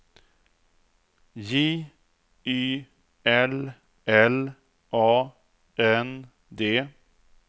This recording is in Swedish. J Y L L A N D